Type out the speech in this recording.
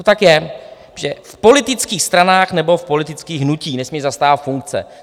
To tak je, že v politických stranách nebo v politických hnutích nesmějí zastávat funkce.